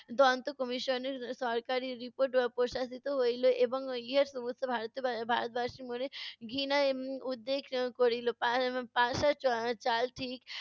দন্ত commission এর সরকারি report প্রশাশিত হইলো এবং ইহা সমস্ত ভারত বা~ ভারতবাসীর মনে ঘৃণার উদ্বেগ করিলো।